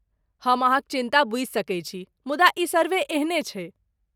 हम अहाँक चिन्ता बुझि सकै छी, मुदा ई सर्वे एहने छैक।